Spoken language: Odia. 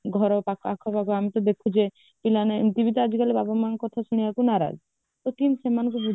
ଘର ବା ଆଖପାଖ ଆମେ ତ ଦେଖୁଛେ ପିଲାମାନେ ଏମିତି ବି ତ ଆଜିକାଲି ବାପା ମାଙ୍କ କଥା ଶୁଣିବକୁ ନାରାଜ ସେଠି ସେମାନଙ୍କୁ ବୁଝେଇବା